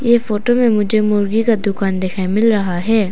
ये फोटो मे मुझे मुर्गी का दुकान दिखाई मिल रहा है।